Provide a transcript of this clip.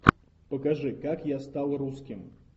покажи как я стал русским